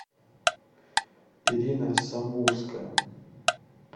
ирина самбурская